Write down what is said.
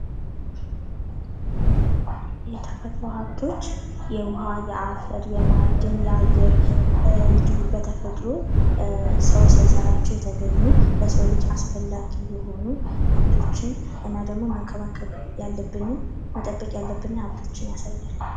የተፈጥሮ ኃብቶች የዉኃ ፣የአፈር ፣ የማዕድን ፣ የአየር እንዲሁ በተፈጥሮ ሰዉ ሳይሰራቸዉ የተገኙ ለሰዉ ልጅ አስፈላጊ የሆኑ ኃብቶችን እና ደግሞ መንከባከብ ያለብንን መጠበቅ ያለብንን ኃብቶችን ያሳያል።